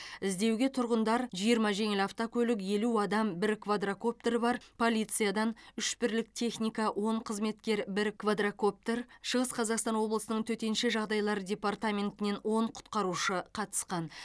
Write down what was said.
іздеуге тұрғындар жиырма жеңіл автокөлік елу адам бір квадрокоптері бар полициядан үш бірлік техника он қызметкер бір квадрокоптер шығыс қазақстан облысы төтенше жағдайлар департаментінен он құтқарушы қатысқан